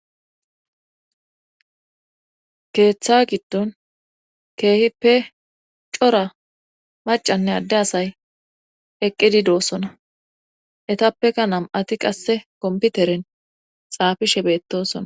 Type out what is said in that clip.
keeththa giddon keehippe cora macanne adde asay eqqidi doosona etappeka nam7ati qasse komputeren xaafishe beettosona